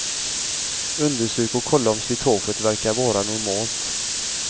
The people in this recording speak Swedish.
Undersök och kolla om slitaget verkar vara normalt.